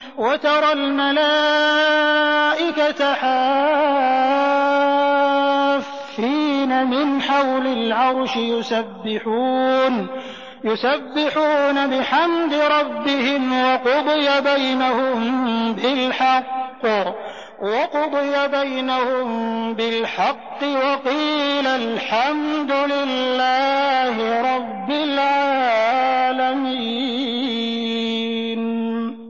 وَتَرَى الْمَلَائِكَةَ حَافِّينَ مِنْ حَوْلِ الْعَرْشِ يُسَبِّحُونَ بِحَمْدِ رَبِّهِمْ ۖ وَقُضِيَ بَيْنَهُم بِالْحَقِّ وَقِيلَ الْحَمْدُ لِلَّهِ رَبِّ الْعَالَمِينَ